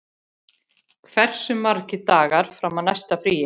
Nala, hversu margir dagar fram að næsta fríi?